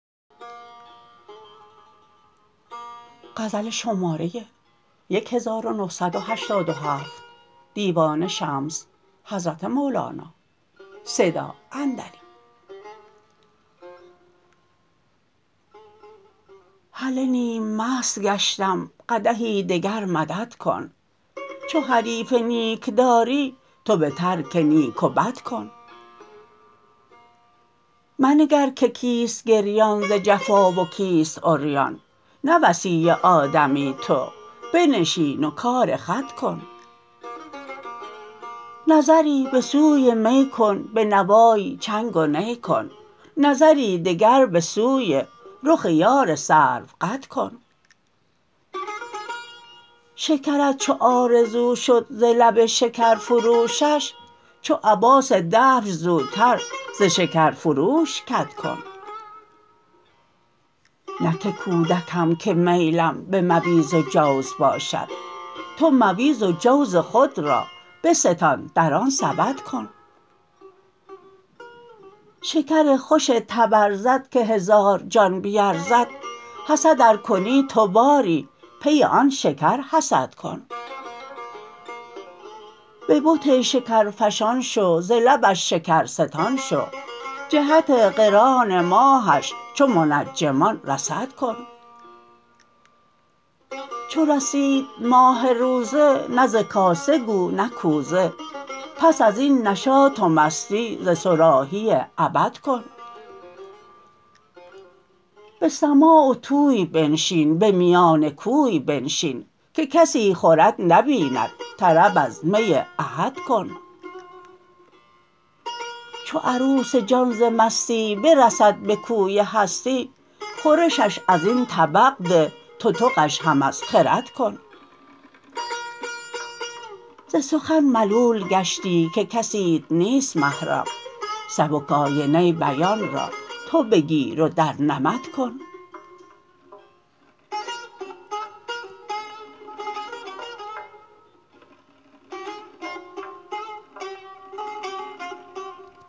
هله نیم مست گشتم قدحی دگر مدد کن چو حریف نیک داری تو به ترک نیک و بد کن منگر که کیست گریان ز جفا و کیست عریان نه وصی آدمی تو بنشین و کار خود کن نظری به سوی می کن به نوای چنگ و نی کن نظری دگر به سوی رخ یار سروقد کن شکرت چو آرزو شد ز لب شکرفروشش چو عباس دبس زودتر ز شکرفروش کدکن نه که کودکم که میلم به مویز و جوز باشد تو مویز و جوز خود را بستان در آن سبد کن شکر خوش تبرزد که هزار جان به ارزد حسد ار کنی تو باری پی آن شکر حسد کن به بت شکرفشان شو ز لبش شکرستان شو جهت قران ماهش چو منجمان رصد کن چو رسید ماه روزه نه ز کاسه گو نه کوزه پس از این نشاط و مستی ز صراحی ابد کن به سماع و طوی بنشین به میان کوی بنشین که کسی خورت نبیند طرب از می احد کن چو عروس جان ز مستی برسد به کوی هستی خورشش از این طبق ده تتقش هم از خرد کن ز سخن ملول گشتی که کسیت نیست محرم سبک آینه بیان را تو بگیر و در نمد کن